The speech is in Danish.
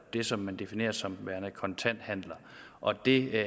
det som man definerer som værende kontanthandler og det